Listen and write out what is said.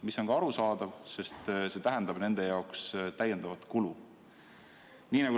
See on ka arusaadav, sest tähendab see nende jaoks täiendavat kulu.